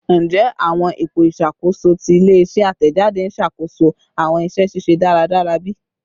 Njẹ awọn ipo iṣakoso ti ile-iṣẹ atẹjade n ṣakoso awọn iṣẹ ṣiṣe daradara bi?